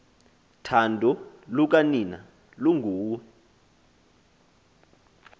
thando lukanina lunguwe